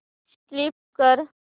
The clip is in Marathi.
स्कीप कर